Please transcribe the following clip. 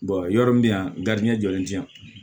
yɔrɔ min yan jɔlen tɛ yan